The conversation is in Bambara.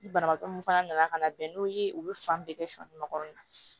Ni banabaatɔ mun fana nana ka na bɛn n'o ye u bɛ fan bɛɛ kɛ sɔ makɔnɔ